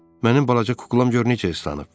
Mənim balaca kuklam gör necə islanıb.